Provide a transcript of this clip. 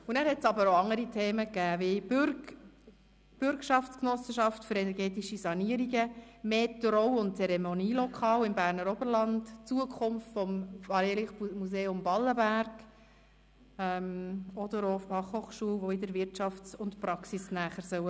Es gab aber auch andere Themen wie die Bürgschaftsgenossenschaft für energetische Sanierungen, mehr Trauungs- und Zeremonienlokale im Berner Oberland, die Zukunft des Freilichtmuseums Ballenberg oder auch die Fachhochschulen, die sich der Wirtschaft und der Praxis annähern sollen.